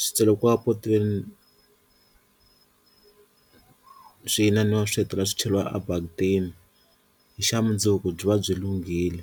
swi tsalekiwa potweni swi inaniwa swi hetelela swi cheriwa a bakitini hi xa mundzuku byi va byi lunghile.